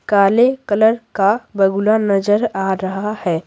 काले कलर का बगुला नजर आ रहा है।